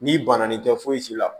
N'i banana nin tɛ fosi la